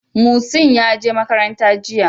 Mucin ya je makaranta jiya.